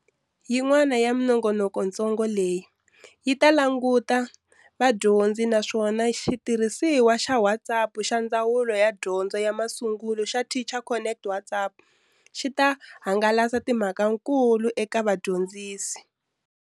Yin'wana ya minongonokontsongo leyi yi ta languta vadyondzi naswona xitirhisiwa xa WhatsApp xa Ndzawulo ya Dyondzo ya Masungulo xa Teacher Connect WhatsApp xi ta hangalasa timhakankulu eka vadyondzisi.